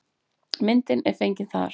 Myndin er fengin þar.